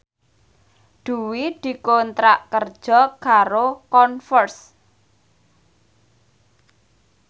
Dwi dikontrak kerja karo Converse